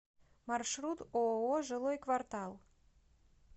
маршрут ооо жилой квартал